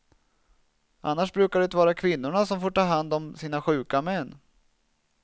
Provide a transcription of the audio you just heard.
Annars brukar det vara kvinnorna som får ta hand om sina sjuka män.